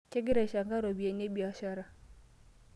Kingira aishanka ropiyiani e biashara.